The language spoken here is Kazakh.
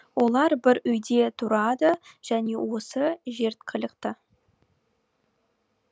олар бір үйде тұрады және осы жерткілікті